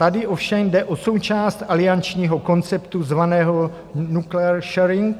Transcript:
Tady ovšem jde o součást aliančního konceptu zvaného nuclear sharing.